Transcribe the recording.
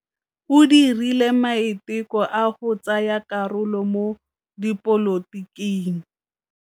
O dirile maitekô a go tsaya karolo mo dipolotiking.